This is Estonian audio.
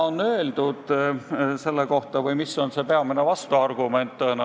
Nüüd, mis on peamine vastuargument?